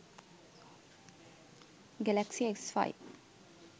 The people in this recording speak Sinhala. galaxy s5